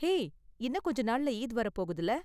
Hey, இன்னும் கொஞ்ச நாள்ல ஈத் வர போகுதுல.